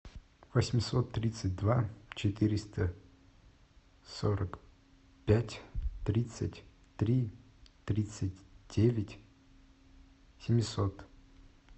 восемьсот тридцать два четыреста сорок пять тридцать три тридцать девять семьсот